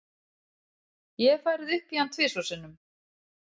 Ég hef farið upp í hann tvisvar sinnum.